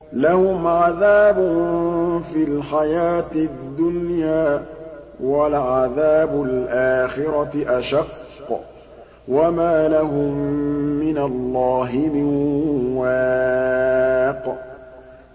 لَّهُمْ عَذَابٌ فِي الْحَيَاةِ الدُّنْيَا ۖ وَلَعَذَابُ الْآخِرَةِ أَشَقُّ ۖ وَمَا لَهُم مِّنَ اللَّهِ مِن وَاقٍ